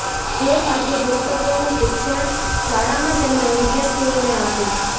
જે પાઠ્યપુસ્તકોનુ શિક્ષણ શાળામા તેમના વિદ્યાર્થી ઓને આપે છે